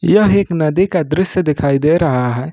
यह एक नदी का दृश्य दिखाई दे रहा है।